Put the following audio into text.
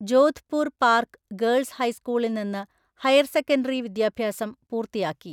Jodhpur park girls ഹൈസ്കൂളിൽ നിന്ന് higher secondary വിദ്യാഭ്യാസം പൂർത്തിയാക്കി.